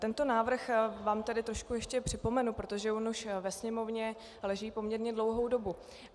Tento návrh vám tedy trošku ještě připomenu, protože on už ve Sněmovně leží poměrně dlouhou dobu.